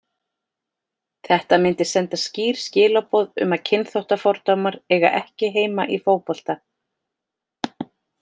Þetta myndi senda skýr skilaboð um að kynþáttafordómar eiga ekki heima í fótbolta.